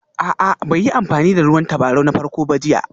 A'a bai yi amfani da ruwan tabarau na farko ba jiya